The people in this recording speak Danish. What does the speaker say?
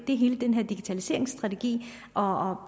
er hele den her digitaliseringsstrategi og